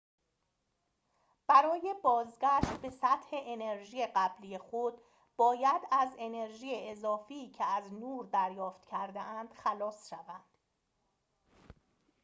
برای بازگشت به سطح انرژی قبلی خود باید از انرژی اضافی که از نور دریافت کرده‌اند خلاص شوند